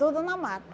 Tudo na mata.